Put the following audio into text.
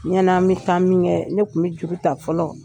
Ya n'an bi taa min kɛ ne kun bi juru ta fɔlɔ .